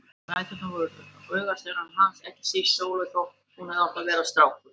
Dæturnar voru augasteinar hans, ekki síst Sóley þótt hún hefði átt að vera strákur.